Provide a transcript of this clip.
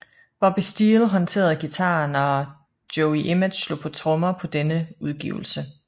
Bobby Steele håndterede guitaren og Joey Image slog på trommer på denne udgivelse